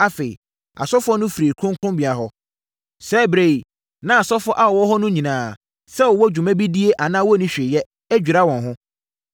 Afei, asɔfoɔ no firii kronkronbea hɔ. Saa ɛberɛ yi, na asɔfoɔ a wɔwɔ hɔ no nyinaa, sɛ wɔwɔ dwuma bi die anaa wɔnni hwee yɛ, adwira wɔn ho.